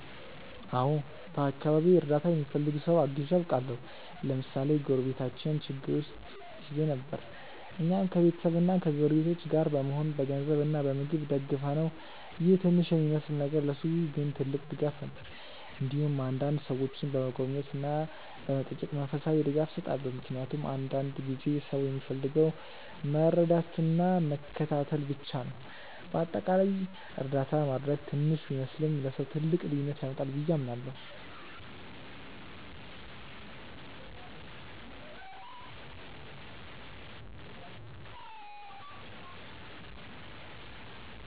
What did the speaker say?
አዎን፣ በአካባቢዬ እርዳታ የሚፈልግ ሰው አግዤ አውቃለሁ። ለምሳሌ አንድ ጎረቤታችን ችግር ውስጥ ጊዜ ነበር፣ እኛም ከቤተሰብና ከጎረቤቶች ጋር በመሆን በገንዘብ እና በምግብ ደገፍነው ይህ ትንሽ የሚመስል ነገር ለእርሱ ግን ትልቅ ድጋፍ ነበር። እንዲሁም አንዳንዴ ሰዎችን በመጎብኘት እና በመጠየቅ መንፈሳዊ ድጋፍ እሰጣለሁ፣ ምክንያቱም አንዳንድ ጊዜ ሰው የሚፈልገው መረዳትና መከታተል ብቻ ነው። በአጠቃላይ እርዳታ ማድረግ ትንሽ ቢመስልም ለሰው ትልቅ ልዩነት ያመጣል ብዬ አምናለሁ።